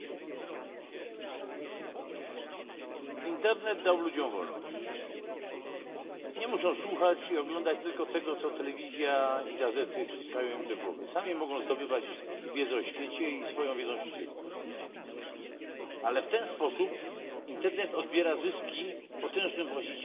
Panie Przewodniczący! Internet dał ludziom wolność nie muszą słuchać i oglądać tylko tego, co telewizja i gazety wciskają im do głowy. Sami mogą zdobywać wiedzę o świecie i swoją wiedzą się dzielić, ale w ten sposób internet odbiera zyski potężnym właścicielom